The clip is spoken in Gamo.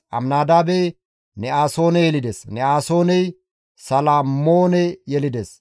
Aminadaabey Ne7asoone yelides; Ne7asooney Salmmoone yelides;